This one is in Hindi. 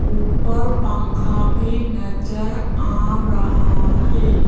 ऊपर पंखा भी नजर आ रहा है।